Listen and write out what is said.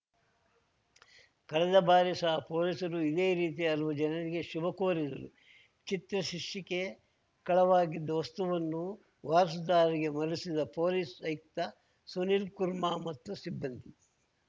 ಕಳೆದ ಬಾರಿ ಸಹ ಪೊಲೀಸರು ಇದೇ ರೀತಿ ಹಲವು ಜನರಿಗೆ ಶುಭ ಕೋರಿದ್ದರು ಚಿತ್ರ ಶೀರ್ಷಿಕೆ ಕಳವಾಗಿದ್ದ ವಸ್ತುವನ್ನು ವಾರಸುದಾರರಿಗೆ ಮರಳಿಸಿದ ಪೊಲೀಸ್‌ ಆಯುಕ್ತ ಸುನೀಲ್‌ಕುರ್ಮಾ ಮತ್ತು ಸಿಬ್ಬಂದಿ